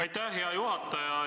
Aitäh, hea juhataja!